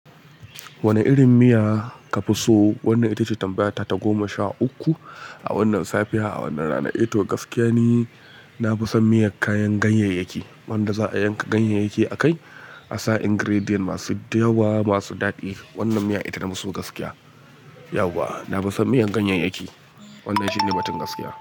Wane irin miya ka fi so? Wannan ita ce tambaya ta goma sha uku. A wannan safiya, a wannan rana, eh to gaskiya ne na fi son miyan kayan ganyayyaki. Wanda za yanka ganyayyake akai asa ingredients masu yawa masu dadi. Wannan miya ita na fiso gaskiya. Yahwa! Na fi son miyan ganyayyaki. Wannan shine batun gaskiya.